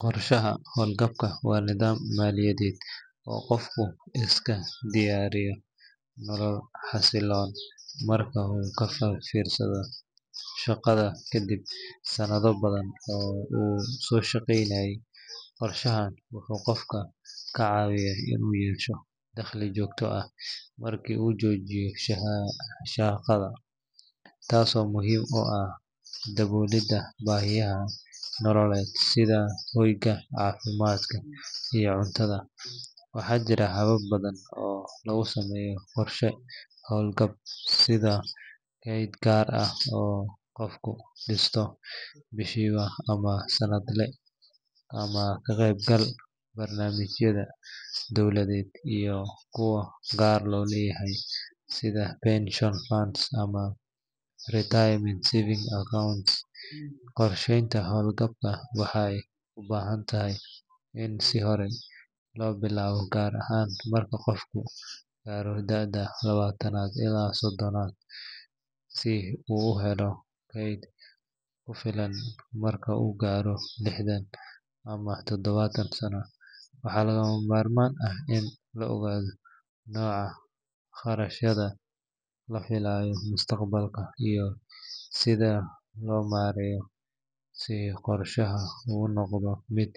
Qorshaha hawlgabka waa nidaam maaliyadeed oo qofku isku diyaariyo nolol xasilloon marka uu ka fariisto shaqada kadib sanado badan oo uu soo shaqeynayay. Qorshahan wuxuu qofka ka caawiyaa inuu yeesho dakhli joogto ah marka uu joojiyo shaqada, taasoo muhiim u ah daboolidda baahiyaha nololeed sida hoyga, caafimaadka, iyo cuntada. Waxaa jira habab badan oo lagu sameeyo qorshe hawlgab sida kayd gaar ah oo qofku dhisto bishiiba ama sanadle, ama ka qaybgalka barnaamijyada dowladeed iyo kuwa gaar loo leeyahay sida pension funds ama retirement savings accounts. Qorsheynta hawlgabka waxay u baahan tahay in si hore loo bilaabo, gaar ahaan marka qofku gaaro da’da labaatan ilaa soddon, si uu u helo kayd ku filan marka uu gaaro lixdan ama todobaatan sano. Waxaa lagama maarmaan ah in la ogaado nooca kharashyada la filayo mustaqbalka iyo sida loo maareeyo si qorshaha u noqdo mid.